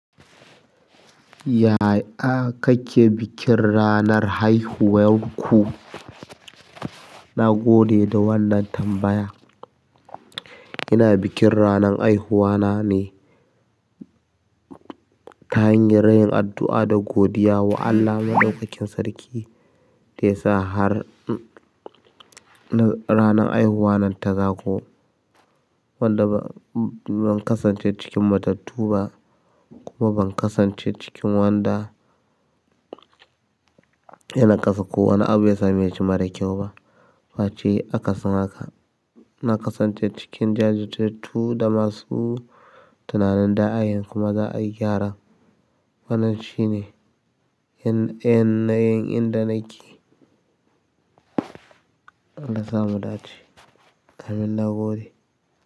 Yaya kake bikin ranar haihuwarku na gode da wannan tambaya. Ina bikin ranar haihuwa na ne. Ta hanyar yin addu'a da godiya wa Allah Maɗaukakin Sarki da ya sa ranar haihuwa nan ta zaƙo. Wanda ban kasance cikin matattu ba kuma ban kasance cikin wanda yana kasa ko wani abu ya same shi mara kyau ba. Face aka sin haka. Na kasance cikin jajirtattu da masu tunanin da ayanzu kuma za a yi gyara. Wannan shi ne yanayin inda nake. Allah sa mu dace. Amin, na gode.